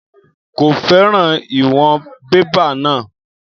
Kò fẹ́ràn ìwọ̀n bébà náà.